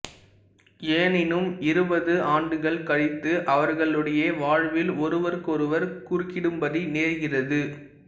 எனினும் இருபது ஆண்டுகள் கழித்து அவர்களுடைய வாழ்வில் ஓருவருக்கொருவர் குறுக்கிடும்படி நேர்கிறது